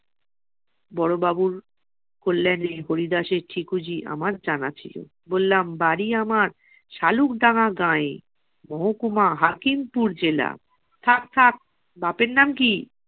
বড়োবাবুর কল্যানে হরিদাসের ঠিকুজি আমার জানা ছিল। বললাম বাড়ি আমার শালুকডাঙ্গা গাঁয়ে, মহকুমা হাকিমপুর জেলা। থাক থাক, বাপের নাম কি?